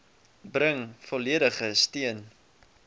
bring volledige steun